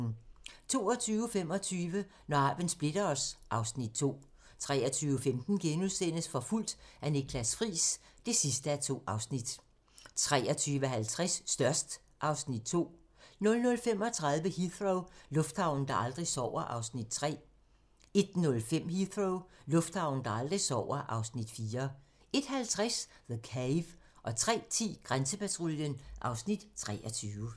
22:25: Når arven splitter os (Afs. 2) 23:15: Forfulgt af Niklas Friis (2:2)* 23:50: Størst (Afs. 2) 00:35: Heathrow - lufthavnen, der aldrig sover (Afs. 3) 01:05: Heathrow - lufthavnen, der aldrig sover (Afs. 4) 01:50: The Cave 03:10: Grænsepatruljen (Afs. 23)